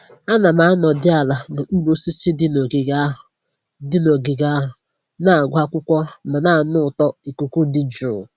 Ana m anọdị ala n'okpuru osisi dị n'ogige ahụ, dị n'ogige ahụ, na-agụ akwụkwọ ma na-anụ ụtọ ikuku dị jụụ